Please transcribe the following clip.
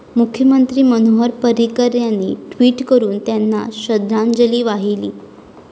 मुख्यमंत्री मनोहर पर्रिकर यांनी ट्वीट करून त्यांना श्रद्धांजली वाहिली.